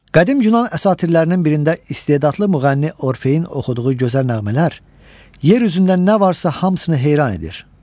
Qədim yunan əsatirlərinin birində istedadlı müğənni Orfeyin oxuduğu gözəl nəğmələr yer üzündə nə varsa hamısını heyran edir.